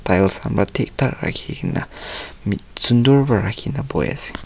tiles han para thik thak rakhi kena mit sundur para rakhina bohe ase.